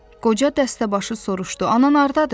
Qoca dəstəbaşı soruşdu: "Ana hardadır?"